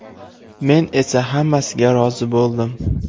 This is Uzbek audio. Men esa hammasiga rozi bo‘ldim.